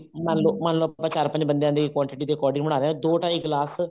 ਮੰਨਲੋ ਮੰਨਲੋ ਆਪਾਂ ਚਾਰ ਪੰਜ ਬੰਦਿਆ ਦੀ quantity ਦੇ according ਬਣਾ ਰਹੇ ਹਾਂ ਦੋ ਢਾਈ ਗਲਾਸ